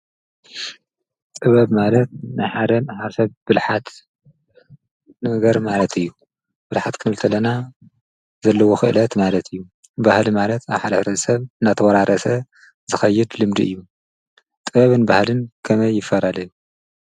ጥበብ ማለት ብሓደ ዝሓሸ ብልሓት ነገር ማለት እዩ። ብልሓት ክንብል ከለና ዘለዎ ክእለት ማለት ፣እዩ ባህሊ ማለትካብ ሓደ ሕብረተሰብ እናተወራረሰ ዝኸይድ ልምዲ እዩ። ጥበብን ባህልን ከመይ ይፈላለዩ ?